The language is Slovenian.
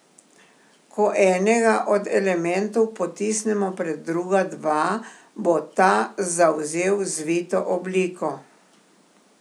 Ko enega od elementov potisnemo pred druga dva, bo ta zavzel zvito obliko.